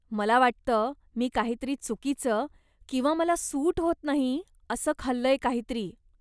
मला वाटतं मी काहीतरी चुकीचं किंवा मला सूट होत नाही असं खाल्लंय काहीतरी.